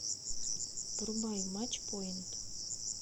врубай матч пойнт